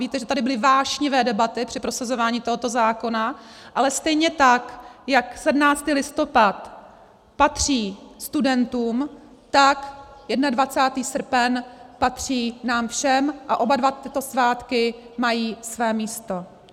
Víte, že tady byly vášnivé debaty při prosazování tohoto zákona, ale stejně tak jako 17. listopad patří studentům, tak 21. srpen patří nám všem a oba dva tyto svátky mají své místo.